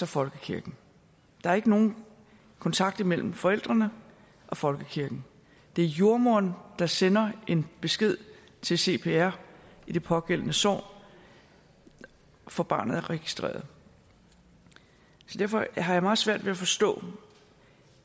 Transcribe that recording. folkekirken der er ikke nogen kontakt imellem forældrene og folkekirken det er jordemoderen der sender en besked til cpr i det pågældende sogn og får barnet registreret så derfor har jeg meget svært ved at forstå